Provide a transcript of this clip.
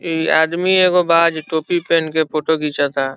इ आदमी एगो बा जे टोपी पिन्न के फोटो घीचाता।